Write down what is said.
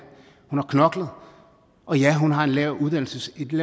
hun har knoklet og ja hun har et lavt uddannelsesniveau